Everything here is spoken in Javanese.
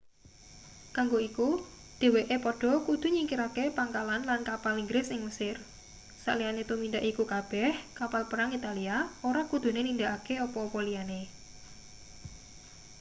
kanggo iku dheweke padha kudu nyingkirake pangkalan lan kapal inggris ing mesir saliyane tumindak iku kabeh kapal perang italia ora kudune nindakake apa-apa liyane